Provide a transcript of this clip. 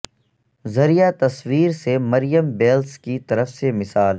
ذریعہ تصویر سے مریم بیلس کی طرف سے مثال